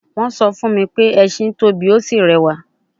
Wọ́n sọ fún mi pé ẹṣin tóbi, ó sì rẹwà